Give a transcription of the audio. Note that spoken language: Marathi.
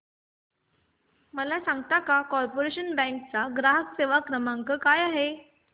मला सांगता का कॉर्पोरेशन बँक चा ग्राहक सेवा क्रमांक काय आहे